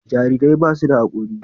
jarirai ba su da hakori